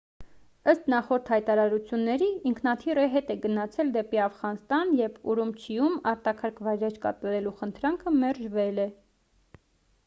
ըստ նախորդ հայտարարությունների ինքնաթիռը հետ է գնացել դեպի աֆղանստան երբ ուրումչիում արտակարգ վայրէջք կատարելու խնդրանքը մերժվել է